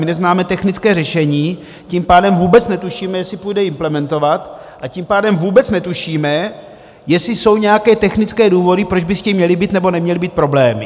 My neznáme technické řešení, tím pádem vůbec netušíme, jestli půjde implementovat, a tím pádem vůbec netušíme, jestli jsou nějaké technické důvody, proč by s tím měly být nebo neměly být problémy.